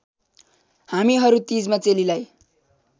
हामीहरू तीजमा चेलीलाई